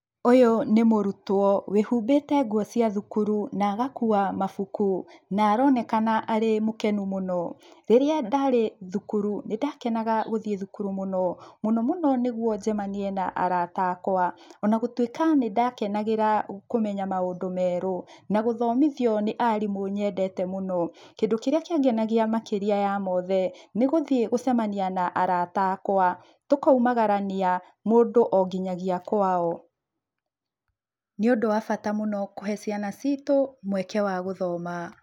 Ũyũ nĩ mũrutwo wĩhũmbite nguo cĩa thukuru na agakũa mabũku na aronekana ari mũkenu mũno. Rĩrĩa ndarĩ thukuru nĩndakenaga gũthiĩ thukuru mũno. Mũno mũno nĩguo njemanĩe na arata akwa ona gũtwĩka nĩdakenagira kũmenya maũndũ merũ na gũthomĩthio nĩ arĩmu nyendete mũno. Kĩndu kĩria kĩangenagĩa makĩria ya mothe na arata akwa tũkaumagarania ,mũndu oo nginya kwao. Nĩ ũndũ wa bata mũno kũhe cĩana cĩĩtu mweke wa gũthoma.